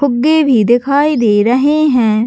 फुग्गे भी दिखाई दे रहे है।